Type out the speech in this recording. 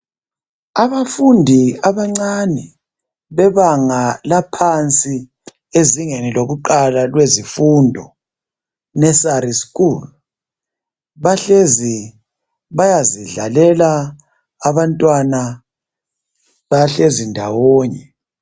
Abafundi abancane bebanga laphansi ezingeni lokuqala lwezifundo nursery school bahlezi bayazidlalela abantwana bahlezi ndawonye.